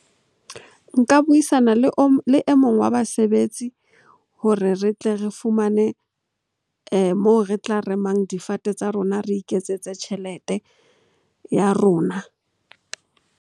Nka buisana le o mong wa basebetsi hore re tle re fumane moo re tla remang difate tsa rona, re iketsetse tjhelete ya rona.